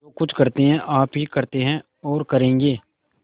जो कुछ करते हैं आप ही करते हैं और करेंगे